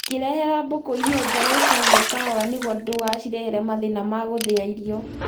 Ũkĩrehera mbũkũ irio njerũ ĩka guo kahora niguo ndũgashirehere mathĩna ma gũthĩa irio